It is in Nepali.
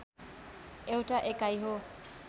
एउटा एकाइ हो